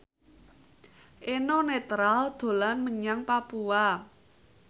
Eno Netral dolan menyang Papua